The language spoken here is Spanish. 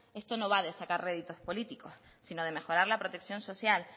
esto no va de sacar réditos políticos sino de mejorar la protección social